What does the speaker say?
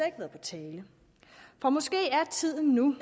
ikke været på tale for måske er tiden nu